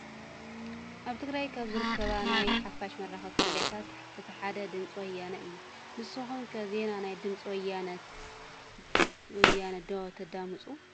ኣብ ትግራይ ካብ ዝርከባ ናይ ሓፋሽ መራኽብቲ ሚድያታት እቲ ሓደ ድምፂ ወያነ እዩ፡፡ ንስኹም ከ ዜና ናይ ድምፂ ወያነ ዶ ተዳምፁ?